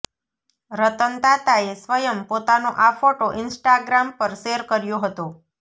રતન તાતાએ સ્વયં પોતાનો આ ફોટો ઇન્સ્ટાગ્રામ પર શૅર કર્યો હતો